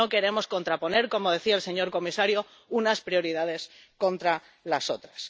y no queremos contraponer, como decía el señor comisario, unas prioridades contra las otras.